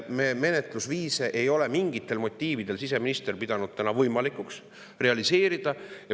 Seda menetlusviisi ei ole siseminister mingitel motiividel pidanud võimalikuks realiseerida.